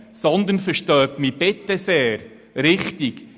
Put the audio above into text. Verstehen Sie mich bitte richtig: